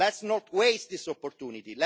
Let us not waste this opportunity